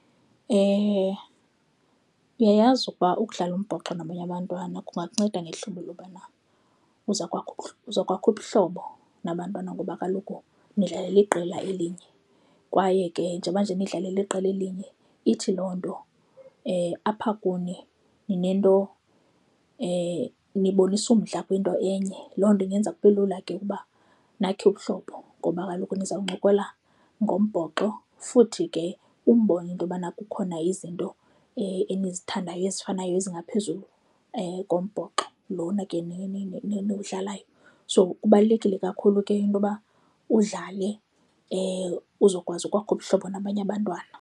Uyayazi ukuba ukudlala umbhoxo nabanye abantwana kungakunceda ngehlobo lobana uza kwakho, uza kwakha ubuhlobo nabantwana ngoba kaloku nidlalalela iqela elinye kwaye ke njengoba nje nidlala eliqela elinye ithi loo nto apha kuni ninento nibonisa umdla kwinto enye. Loo nto ingenza kube lula ke ukuba nakhe ubuhlobo ngoba kaloku niza kuncokola ngombhoxo futhi ke umbone into yobana kukhona izinto enizithandayo ezifanayo ezingaphezulu kombhoxo lona ke niwudlalayo. So, kubalulekile kakhulu ke into yoba udlale uzokwazi ukwakha ubuhlobo nabanye abantwana.